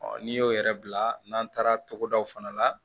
n'i y'o yɛrɛ bila n'an taara togodaw fana la